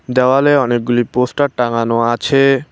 দেওয়ালে অনেকগুলি পোস্টার টাঙানো আছে।